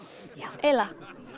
eiginlega